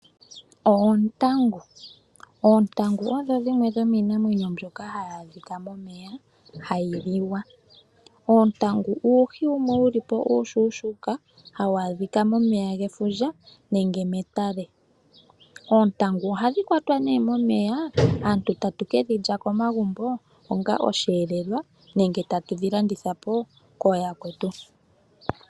Oontangu odho dhiimwe dho miinamwenyo myoka hayi adhika momeya hayi liwa. Oontangu uuhi wumwe wuli po uushushuka hawu adhika momeya gefundja nenge metale. Oontangu oha dhi kwatwa momeya aantu tatu kedhi lya komagumbo onga oshelelwa nenge tatu dhi landitha po ko yakwetu.